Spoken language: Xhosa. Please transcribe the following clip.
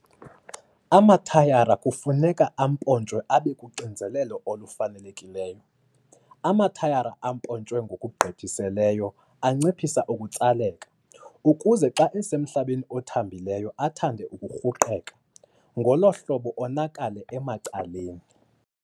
Amathayara kufuneka ampontshwe abe kuxinzelelo olufanelekileyo. Amathayara ampontshwe ngokugqithisileyo anciphisa ukutsaleka, ukuze xa esemhlabeni othambileyo athande ukurhuqeka, ngolo hlobo onakale emacaleni.